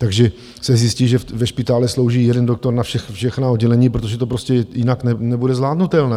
Takže se zjistí, že ve špitále slouží jeden doktor na všechna oddělení, protože to prostě jinak nebude zvládnutelné.